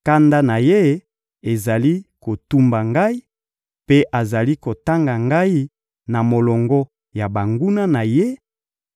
kanda na Ye ezali kotumba ngai, mpe azali kotanga ngai na molongo ya banguna na Ye;